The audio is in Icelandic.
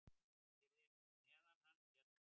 Fyrir neðan hann féll foss.